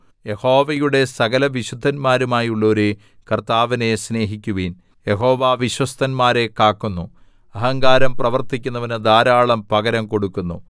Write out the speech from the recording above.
യഹോവയുടെ സകലവിശുദ്ധന്മാരുമായുള്ളോരേ കർത്താവിനെ സ്നേഹിക്കുവിൻ യഹോവ വിശ്വസ്തന്മാരെ കാക്കുന്നു അഹങ്കാരം പ്രവർത്തിക്കുന്നവന് ധാരാളം പകരം കൊടുക്കുന്നു